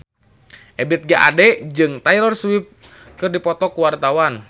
Ebith G. Ade jeung Taylor Swift keur dipoto ku wartawan